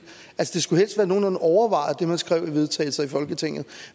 det skulle helst være nogenlunde overvejet det man skriver i vedtagelse i folketinget